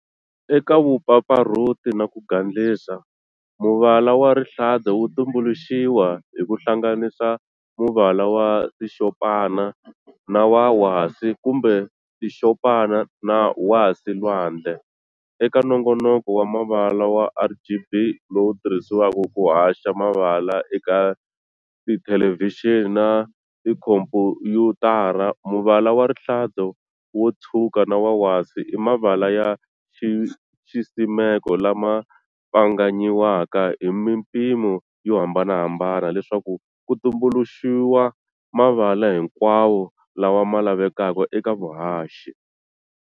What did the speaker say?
Eka vupfapfarhuti na ku gandlisa, muvala wa rihlaza wu tumbuluxiwa hi ku hlanganisa muvala wa xitshopana na wa wasi, kumbe xitshopana na wasi-lwandle, eka nongonoko wa mavala wa RGB, lowu tirhisiwaka ku haxa mavala eka ti thelevixini na tikhompuyutara, muvala wa rihlaza, wo tshwuka na wa wasi i mavala ya xisimeko lama pfanganyiwaka hi mimpimo yo hambanahambana leswaku ku tumbuluxuwa mavala hinkwawo lawa ma lavekaka eka vuhaxi.